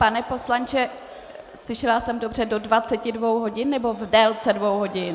Pane poslanče, slyšela jsem dobře do 22 hodin, nebo v délce dvou hodin?